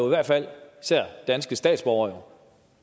hvert fald især danske statsborgere